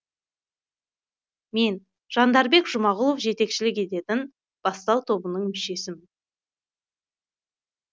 мен жандарбек жұмағұлов жетекшілік ететін бастау тобының мүшесімін